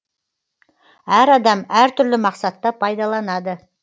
әр адам әр түрлі мақсатта пайдаланады